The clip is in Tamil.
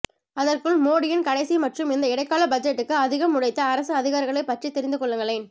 அதற்குள் மோடியின் கடைசி மற்றும் இந்த இடைக்கால பட்ஜெட்டுக்கு அதிகம் உழைத்த அரசு அதிகாரிகளைப் பற்றித் தெரிந்து கொள்ளுங்களேன்